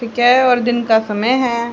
और दिन का समय है।